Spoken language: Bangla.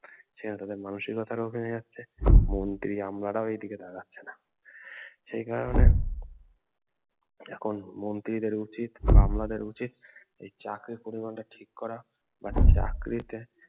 সেখানে তাদের মানসিকতাটা ও কমে যাচ্ছে মন্ত্রী আমলারা ও এদিকে তাকাচ্ছে না উম সে কারনে এখন মন্ত্রীদের উচিত বা আমলাদের উচিত এই চাকরির পরিমান টা ঠিক করা বা চাকরিতে